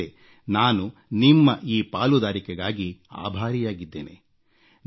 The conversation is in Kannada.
ಅದಕ್ಕೆಂದೇ ನಾನು ನಿಮ್ಮ ಈ ಪಾಲುದಾರಿಕೆಗಾಗಿ ಆಭಾರಿಯಾಗಿದ್ದೇನೆ